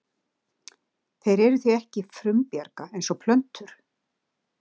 Þeir eru því ekki frumbjarga eins og plöntur.